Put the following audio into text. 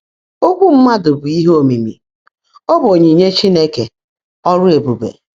“ÓKWỤ́ mmádụ́ bụ́ íhe ómìimì; ọ́ bụ́ ónyínye Chínekè, ọ́rụ́ ébùbè.”